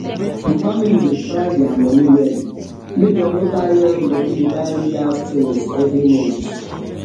the family dey plan dia money wellmake dem no carry all the money dey buy only house tinz every month